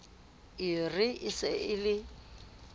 re e se e le